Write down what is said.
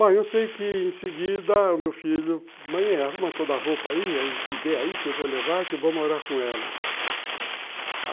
Bom, eu sei que, em seguida, o meu filho... Mãe, arruma toda a roupa aí, o que der aí, que eu vou levar, que eu vou morar com ela.